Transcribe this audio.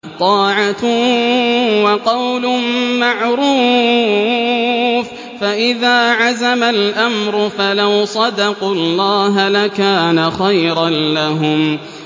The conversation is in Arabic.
طَاعَةٌ وَقَوْلٌ مَّعْرُوفٌ ۚ فَإِذَا عَزَمَ الْأَمْرُ فَلَوْ صَدَقُوا اللَّهَ لَكَانَ خَيْرًا لَّهُمْ